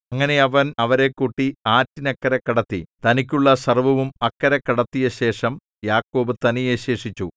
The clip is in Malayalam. അങ്ങനെ അവൻ അവരെ കൂട്ടി ആറ്റിനക്കരെ കടത്തി തനിക്കുള്ള സർവ്വവും അക്കരെ കടത്തിയശേഷം യാക്കോബ് തനിയേ ശേഷിച്ചു